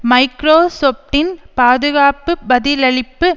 மைக்ரோசொப்டின் பாதுகாப்பு பதிலளிப்பு